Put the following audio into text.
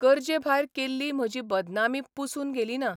गरजेभायर केल्ली म्हजी बदनामी पुसून गेली ना.